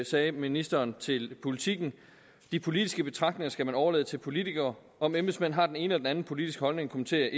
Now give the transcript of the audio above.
sagde ministeren til politiken de politiske betragtninger skal man overlade til politikere om embedsmænd har den ene eller den anden politiske holdning kommenterer